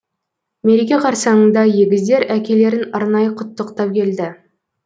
мереке қарсаңында егіздер әкелерін арнайы құттықтап келді